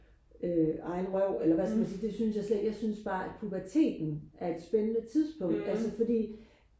øh egen røv eller hvad skal man sige det synes jeg slet ikke jeg synes bare at puberteten er et spændende tidspunkt altså fordi